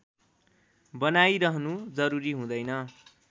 बनाइरहनु जरुरी हुँदैन